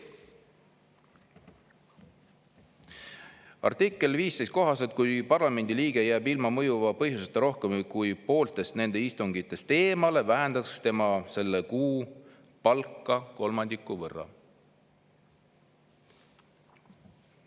Artikli 15 kohaselt, kui parlamendiliige jääb ilma mõjuva põhjuseta rohkem kui pooltest istungitest eemale, vähendatakse tema selle kuu palka kolmandiku võrra.